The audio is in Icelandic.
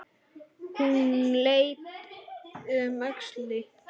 Hún leit um öxl.